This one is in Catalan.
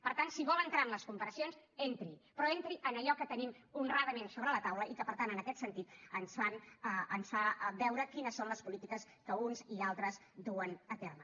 per tant si vol entrar en les comparacions entri hi però entri en allò que tenim honradament sobre la taula i que per tant en aquest sentit ens fa veure quines són les polítiques que uns i altres duen a terme